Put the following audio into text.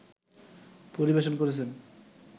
পরিবেশন করছেন